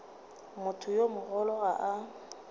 motho yo mogolo ga a